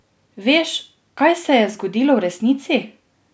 Veš, kaj se je zgodilo resnici?